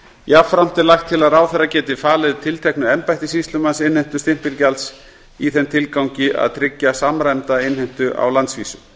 jafnframt er lagt til að ráðherra geti falið tilteknu embætti sýslumanns innheimtu stimpilgjalds í þeim tilgangi að tryggja samræmda innheimtu á landsvísu